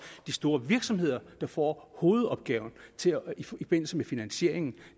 de store virksomheder der får hovedopgaven i forbindelse med finansieringen